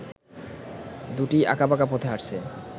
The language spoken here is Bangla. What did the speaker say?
দুটিই আকাঁবাকা পথে হাটছে